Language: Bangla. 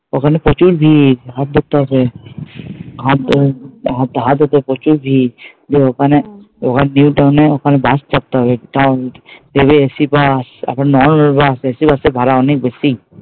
ওখানে প্রচুর ভিড় বাস ধরতে হবে আমার তো, আমার তো প্রচুর ভিড়, গিয়ে ওখানে ওখান দিয়ে ওখান বাস চাপতে হবে থেকে AC বাস আবার ও আছে AC বাসের ভাড়া অনেক বেশি।